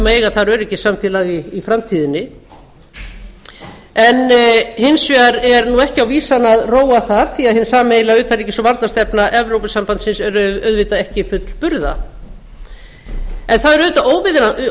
eiga þar öryggissamfélag í framtíðinni hins vegar er nú ekki á vísan að róa þar því að hin sameiginlega utanríkis og varnarstefna evrópusambandsins er auðvitað ekki fullburða en það er